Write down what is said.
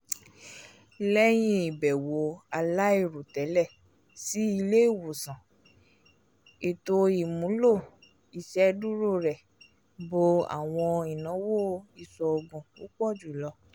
lẹyìn ibẹwo alairotẹlẹ sí ilé-ìwòsàn ètó ìmúlò iṣeduro rẹ bo àwọn ìnáwó iṣoogun púpọ jùlọ